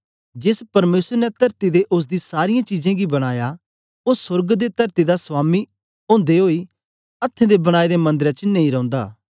जेस परमेसर ने तरती ते ओसदी सारीयें चीजें गी बनाया ओ सोर्ग ते तरती दा स्वामी ओदे ओई अथ्थें दे बनाए दे मंदरें च नेई रौंदा